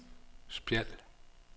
Spjald